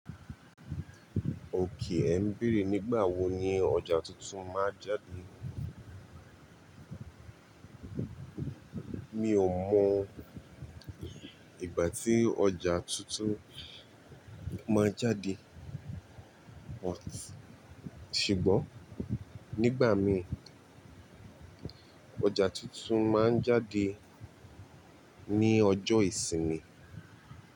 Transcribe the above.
Òkè ẹ̀ ń bere, nígbàwo ni ọjà tuntun máa jáde? Mi ò mọ ìgbà tí ọjà tuntun máa jáde, but ṣùgbọ́n nígbà mí, ọjà tuntun máa ń jáde ní ọjọ́ ìsinmi.